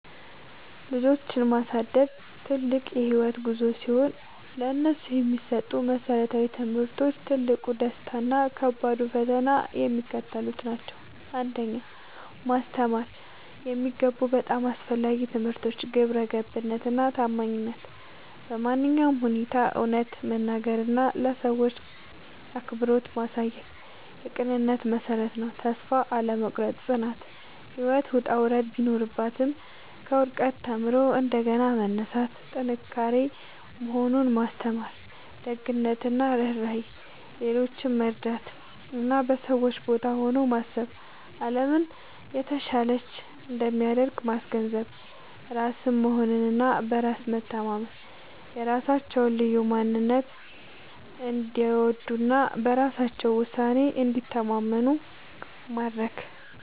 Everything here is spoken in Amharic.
ልጆችን ማሳደግ ትልቅ የህይወት ጉዞ ሲሆን፥ ለነሱ የሚሰጡ መሰረታዊ ትምህርቶች፣ ትልቁ ደስታ እና ከባዱ ፈተና የሚከተሉት ናቸው 1. ማስተማር የሚገቡ በጣም አስፈላጊ ትምህርቶች ግብረገብነት እና ታማኝነት በማንኛውም ሁኔታ እውነትን መናገር እና ለሰዎች አክብሮት ማሳየት የቅንነት መሠረት ነው። ተስፋ አለመቁረጥ (ጽናት)፦ ህይወት ውጣ ውረድ ቢኖራትም፣ ከውድቀት ተምሮ እንደገና መነሳት ጥንካሬ መሆኑን ማስተማር። ደግነት እና ርህራሄ፦ ሌሎችን መርዳት እና በሰዎች ቦታ ሆኖ ማሰብ አለምን የተሻለች እንደሚያደርግ ማስገንዘብ። ራስን መሆን እና በራስ መተማመን፦ የራሳቸውን ልዩ ማንነት እንዲወዱ እና በራሳቸው ውሳኔ እንዲተማመኑ ማድረግ።